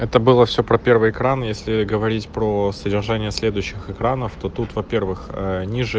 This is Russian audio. это было все про первый экран если говорить про содержание следующих экранов то тут во-первых ээ ниже